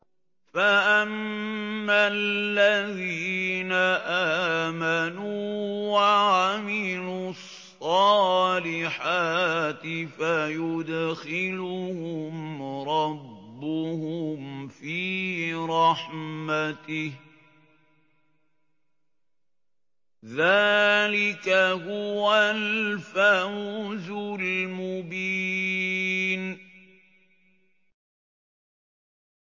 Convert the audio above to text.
فَأَمَّا الَّذِينَ آمَنُوا وَعَمِلُوا الصَّالِحَاتِ فَيُدْخِلُهُمْ رَبُّهُمْ فِي رَحْمَتِهِ ۚ ذَٰلِكَ هُوَ الْفَوْزُ الْمُبِينُ